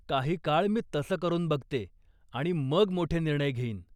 काही काळ मी तसं करून बघते आणि मग मोठे निर्णय घेईन.